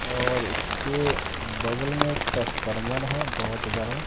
और इसके बगल में एक टसफार्मर है बहोत बड़ा।